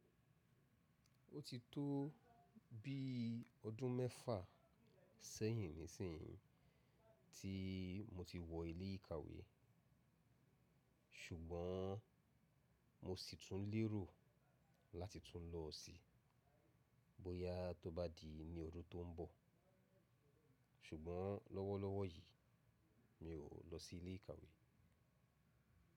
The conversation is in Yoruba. Ó ti tó bí ọdún mẹ́fà sẹ́yìn nísìnyí tí mo ti wọ ilé ìkàwé, ṣùgbọ́n mo sì tún lérò láti tún lọ sí i bóyá tó bá di ní ọdún tó ń bọ̀, ṣùgbọ́n lọ́wọ́lọ́wọ́ yìí mi ò lọ sí ilé ìkàwé.